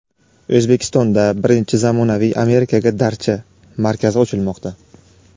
O‘zbekistonda birinchi zamonaviy "Amerikaga darcha" markazi ochilmoqda.